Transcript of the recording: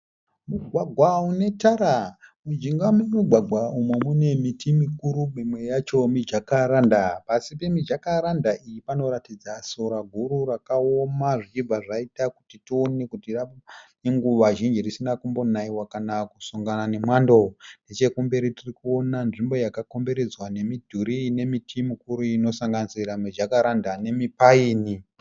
Mugwagwa unetara. Mujinga memugwagwa umu mune miti mikuru mimwe yacho mijakaranda. Pasi pemijakaranda iyi panoratidza sora guru rakaoma zvichibva zvaita kuti tione kuti rave nekuva zhinji risina kumbonaiwa kana kusongana nemwando. Nechekumberi tirikuona nzvimbo yakakomberedzwa nemidhuri ine miti mikuru inosanganisira mijakaranda nemipaini.